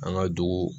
An ka dugu